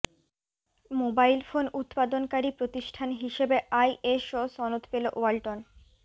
mobile phone উৎপাদনকারী প্রতিষ্ঠান হিসেবে আইএসও সনদ পেলো ওয়ালটন